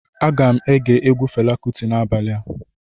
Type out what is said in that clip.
Aga m ege egwu Fela Kụti n'abalịa